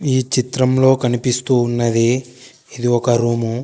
ఈ చిత్రంలో కనిపిస్తూ ఉన్నది ఇది ఒక రూము .